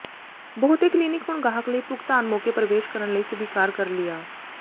ਬਹੁਤੇ ਕਲੀਨਿਕ ਹੁਣ ਗਾਹਕ ਲਈ ਭੁਗਤਾਨ ਮੌਕੇ ਪ੍ਰਵੇਸ਼ ਕਰਨ ਲਈ ਸਵੀਕਾਰ ਕਰ ਲਿਆ